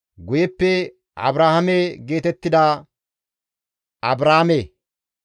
guyeppe Abrahaame geetettida Abraame.